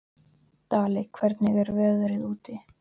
Daley, hvernig er veðrið úti?